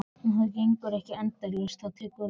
En það gengur ekki endalaust, það tekur enda.